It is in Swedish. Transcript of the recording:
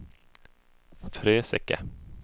Fröseke